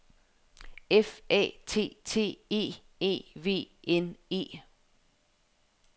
F A T T E E V N E